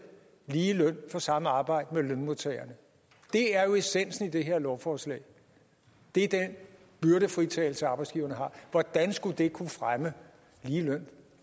lige løn for samme arbejde med lønmodtagerne det er jo essensen af det her lovforslag det er den byrdefritagelse som arbejdsgiverne har hvordan skulle det kunne fremme lige løn